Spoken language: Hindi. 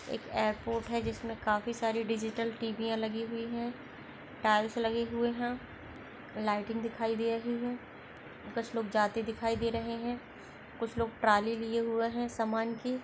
एक एयरपोर्ट है जिसमे काफी सारी डिजिटल टीवी या लगी हुई है टाइल्स लगे हुए है लाइटिंग दिखाई दे रही है कुछ लोग जाते देखाई दे रहे है कुछ लोग ट्रॉली लिए हुए है समान की।